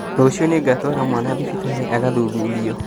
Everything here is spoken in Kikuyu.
Rũciũ nĩngatwara mwana thibitarĩ agathuthurio